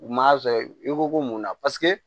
U m'a sɔrɔ i ko ko munna paseke